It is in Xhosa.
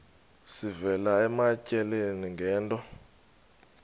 sivela ematyaleni ngento